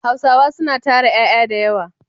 Hausawa suna tara ƴaƴa da yawa.